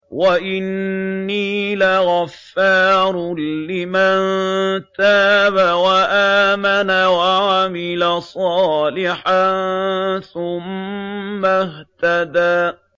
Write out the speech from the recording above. وَإِنِّي لَغَفَّارٌ لِّمَن تَابَ وَآمَنَ وَعَمِلَ صَالِحًا ثُمَّ اهْتَدَىٰ